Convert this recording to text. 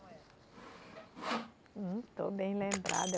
Como era. Hum, estou bem lembrada.